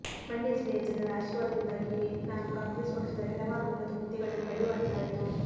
ಮಂಡ್ಯ ಜಿಲ್ಲೆಯ ಜನರ ಆಶೀರ್ವಾದದಿಂದಾಗಿಯೇ ನಾನು ಕಾಂಗ್ರೆಸ್ ಪಕ್ಷದಲ್ಲಿ ಹಲವಾರು ಉನ್ನತ ಹುದ್ದೆಗಳನ್ನು ಪಡೆಯುವಂತಾಯಿತು